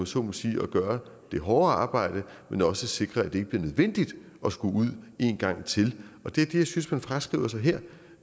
så må sige at gøre det hårde arbejde men også sikre at det ikke bliver nødvendigt at skulle ud en gang til det er det jeg synes man fraskriver sig her